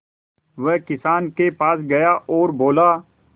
वह किसान के पास गया और बोला